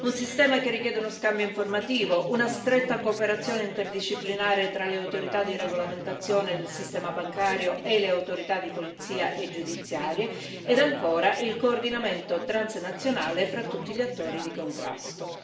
Un sistema che richiede uno scambio informativo, una stretta cooperazione interdisciplinare tra le autorità di regolamentazione del sistema bancario e le autorità di polizia e giudiziarie e, ancora, il coordinamento transnazionale fra tutti gli attori di contrasto.